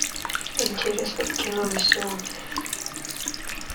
интересное кино на сегодня